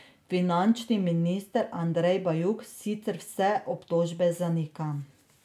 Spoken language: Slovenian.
Finančni minister Andrej Bajuk sicer vse obtožbe zanika.